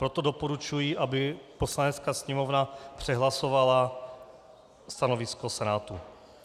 Proto doporučuji, aby Poslanecké sněmovna přehlasovala stanovisko Senátu.